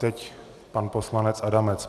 Teď pan poslanec Adamec.